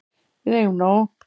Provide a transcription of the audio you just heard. Við eigum nóg.